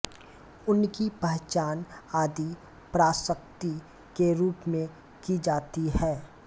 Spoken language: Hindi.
उनकी पहचान आदि पराशक्ति के रूप में की जाती है